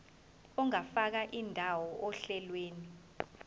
ungafaka indawo ohlelweni